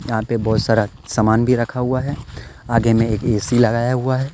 यहां पे बहुत सारा सामान भी रखा हुआ है आगे में एक ए_सी लगाया हुआ है।